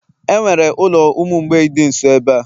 enwere ulo umu mgbei di nso ebe a?